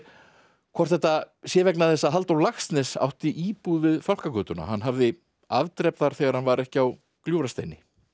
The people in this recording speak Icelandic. hvort þetta sé vegna þess að Halldór Laxness átti íbúð við Fálkagötuna hann hafði afdrep þar þegar hann var ekki á Gljúfrasteini